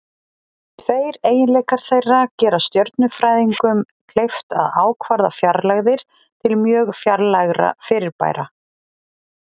Tveir eiginleikar þeirra gera stjörnufræðingum kleift að ákvarða fjarlægðir til mjög fjarlægra fyrirbæra.